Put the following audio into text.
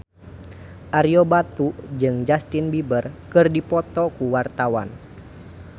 Ario Batu jeung Justin Beiber keur dipoto ku wartawan